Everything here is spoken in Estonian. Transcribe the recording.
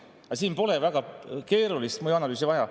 Aga siin pole väga keerulist mõjuanalüüsi vaja.